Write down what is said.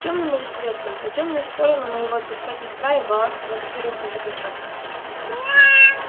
тёмным или светлым на тёмную сторону мы его отпускать не вправе баланс по москве рухнет окончательно